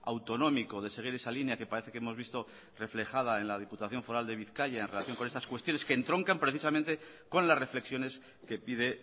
autonómico de seguir esa línea que parece que hemos visto reflejada en la diputación foral de bizkaia en relación con esas cuestiones que entroncan precisamente con las reflexiones que pide